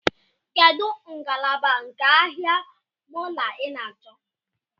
Kedụ ngalaba nke ahịa mọọlụ ị na-achọ?